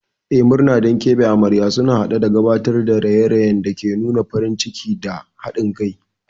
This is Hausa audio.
Eh, murna don keɓe amarya sun haɗa da gabatar da raye-rayen da ke nuna farin ciki da haɗin kai.